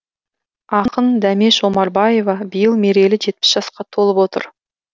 ақын дәмеш омарбаева биыл мерейлі жетпіс жасқа толып отыр